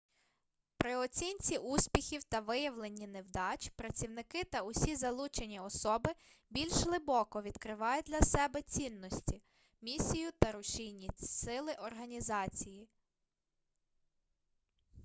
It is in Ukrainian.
при оцінці успіхів та виявленні невдач працівники та усі залучені особи більш глибоко відкривають для себе цінності місію та рушійні сили організації